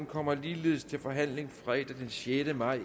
kommer ligeledes til forhandling fredag den sjette maj